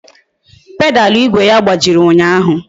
Pedalu igwe ya gbajiri ụnyaahụ